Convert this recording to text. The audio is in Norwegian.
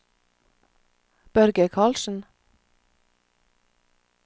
Børge Karlsen